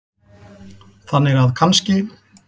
Þannig að kannski.